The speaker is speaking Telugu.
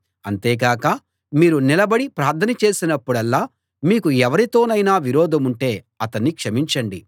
అంతే కాక మీరు నిలబడి ప్రార్థన చేసినప్పుడల్లా మీకు ఎవరితోనైనా విరోధముంటే అతన్ని క్షమించండి